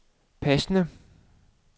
passende